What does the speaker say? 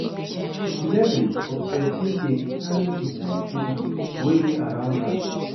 Di level of persin de determine di kind pipo wey de dey around am